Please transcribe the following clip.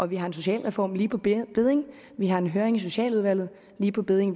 vi har en socialreform lige på bedding vi har en høring i socialudvalget lige på bedding